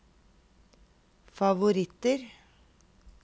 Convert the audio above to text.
favoritter